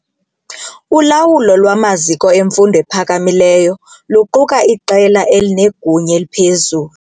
Ulawulo lwamaziko emfundo ephakamileyo luquka iqela elinegunya eliphezulu.